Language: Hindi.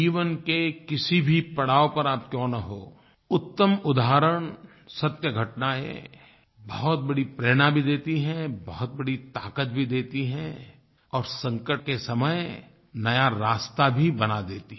जीवन के किसी भी पड़ाव पर आप क्यों न हों उत्तम उदाहरण सत्य घटनाएँ बहुत बड़ी प्रेरणा भी देती हैं बहुत बड़ी ताकत भी देती हैं और संकट के समय नया रास्ता भी बना देती हैं